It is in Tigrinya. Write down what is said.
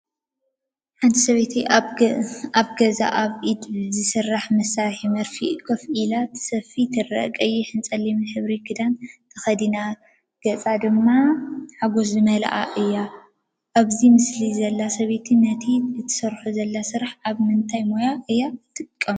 ሓንቲ ሰበይቲ ኣብ ገዛ ኣብ ብኢድ ዝተሰርሐ መሳርሒ መርፍእ ኮፍ ኢላ ክትስፍይ ትርአ። ቀይሕን ጸሊምን ሕብሪ ክዳን ተኸዲና፡ ገጻ ድማ ሓጎስ ዝተመልአ እዩ። ኣብዚ ምስሊ ዘላ ሰበይቲ ነቲ እትሰርሖ ዘላ ስራሕ ኣብ ምንታይ ሞያ እያ እትጥቀመሉ?